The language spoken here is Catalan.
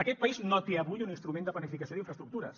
aquest país no té avui un instrument de planificació d’infraestructures